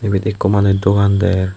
ibet ikko manuj dogan der.